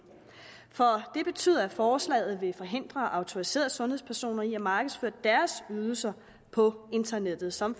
for det betyder at forslaget vil forhindre autoriserede sundhedspersoner i at markedsføre deres ydelser på internettet som